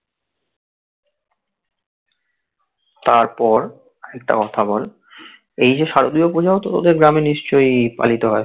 তারপর একটা কথা বল এই যে শারদীয়ার পুজাওতো তোদের গ্রামে নিশ্চই পালিত হয়.